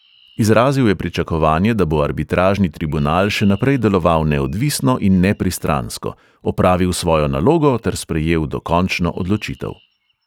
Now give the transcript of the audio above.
Izrazil je pričakovanje, da bo arbitražni tribunal še naprej deloval neodvisno in nepristransko, opravil svojo nalogo ter sprejel dokončno odločitev.